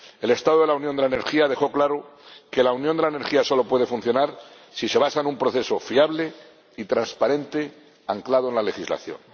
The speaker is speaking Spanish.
El Estado de la Unión de la Energía dejó claro que la Unión de la Energía solo puede funcionar si se basa en un proceso fiable y transparente anclado en la legislación.